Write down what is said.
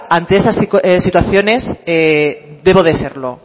ante esas situaciones debo de serlo